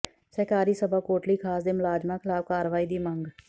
ਸਹਿਕਾਰੀ ਸਭਾ ਕੋਟਲੀ ਖ਼ਾਸ ਦੇ ਮੁਲਾਜ਼ਮਾਂ ਿਖ਼ਲਾਫ਼ ਕਾਰਵਾਈ ਦੀ ਮੰਗ